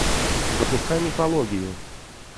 запускай мифологию